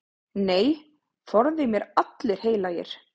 Nei, forði mér allir heilagir.